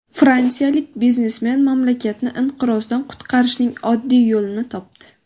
Fransiyalik biznesmen mamlakatni inqirozdan qutqarishning oddiy yo‘lini topdi.